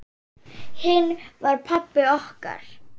Hinn var pabbi okkar.